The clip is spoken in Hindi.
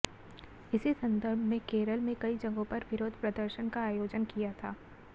इसी संदर्भ में केरल में कई जगहों पर विरोध प्रदर्शन का आयोजन किया था